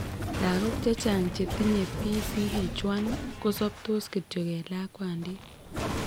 Lagok chechang' chetiniye PCH1 kosobtos kityok eng' lakwandit